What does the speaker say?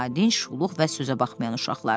Nadinc, şuluq və sözə baxmayan uşaqlar.